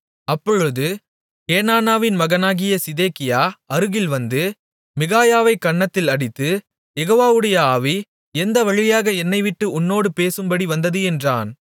அப்பொழுது கேனானாவின் மகனாகிய சிதேக்கியா அருகில் வந்து மிகாயாவைக் கன்னத்தில் அடித்து யெகோவாவுடைய ஆவி எந்த வழியாக என்னைவிட்டு உன்னோடு பேசும்படி வந்தது என்றான்